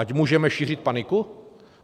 Ať můžeme šířit paniku?